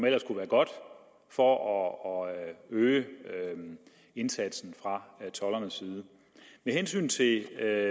ellers kunne være godt for at øge indsatsen fra toldernes side med hensyn til det